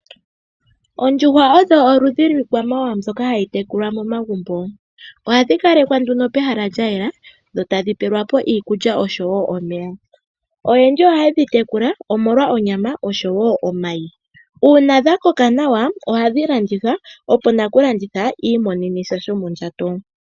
Oondjuhwa odho oludhi lwiikwamawawa mbyoka hayi tekulwa momagumbo. Ohadhi kalekwa nduno pehala lyayela, dho tadhi pelwapo iikulya oshowo omeya. Oyendji ohaye dhi tekula omolwa onyama oshowo omayi, uuna dhakoka nawa ohadhi landithwa opo nakulanditha i imonenesha shomondjato.